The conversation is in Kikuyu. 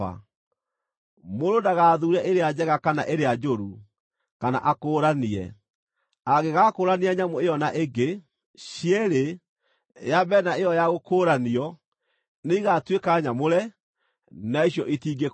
Mũndũ ndagathuure ĩrĩa njega kana ĩrĩa njũru, kana akũũranie. Angĩgakũũrania nyamũ ĩyo na ĩngĩ, cierĩ, ya mbere na ĩyo ya gũkũũranio, nĩ igaatuĩka nyamũre, na icio itingĩkũũrwo.’ ”